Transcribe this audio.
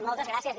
moltes gràcies